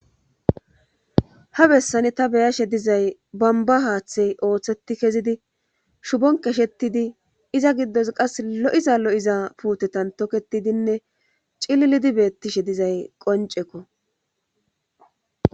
Ha bessani ta beyashe dizay bamba haaththey ooththeti kezidi shubonkeshettidi iza giddos qas lo'iza lo'iza puutetan toketidinne cillidi beettishe dizay qoncekko.